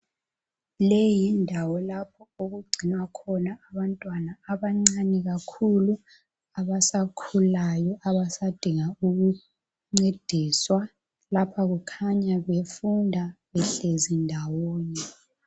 Leyi yindawo lapha okugcinwa khona abancani kakhulu abasakhulayo. Abasadinga ukuncediswa ,lapha kukhanya befunda behlezi ndawonye.